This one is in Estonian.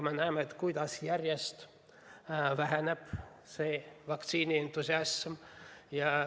Me näeme, kuidas vaktsiinientusiasm järjest väheneb.